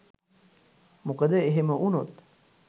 මොකද එහෙම වුණොත්